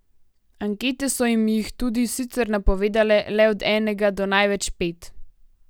Ankete so jim jih tudi sicer napovedale le od enega do največ pet.